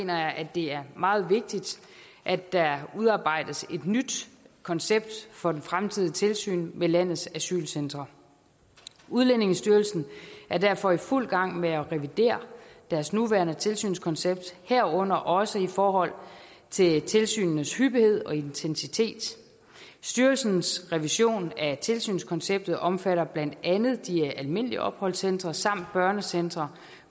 jeg at det er meget vigtigt at der udarbejdes et nyt koncept for det fremtidige tilsyn med landets asylcentre udlændingestyrelsen er derfor i fuld gang med at revidere deres nuværende tilsynskoncept herunder også i forhold til tilsynenes hyppighed og intensitet styrelsens revision af tilsynskonceptet omfatter blandt andet de almindelige opholdscentre samt børnecentre